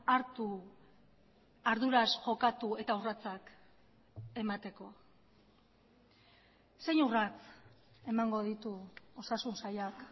hartu arduraz jokatu eta urratsak emateko zein urrats emango ditu osasun sailak